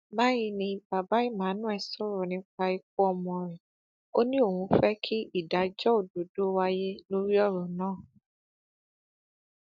báyìí ni bàbá emmanuel sọrọ nípa ikú ọmọ rẹ ó ní òun fẹ kí ìdájọ òdodo wáyé lórí ọrọ náà